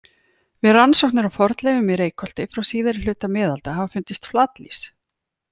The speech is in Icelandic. Við rannsóknir á fornleifum í Reykholti frá síðari hluta miðalda hafa fundist flatlýs.